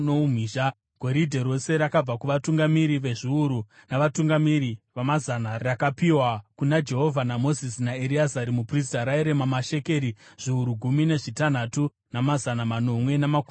Goridhe rose rakabva kuvatungamiri vezviuru navatungamiri vamazana rakapiwa kuna Jehovha naMozisi naEreazari muprista rairema mashekeri zviuru gumi nezvitanhatu, namazana manomwe namakumi mashanu .